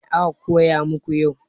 Me aka koya maku yau?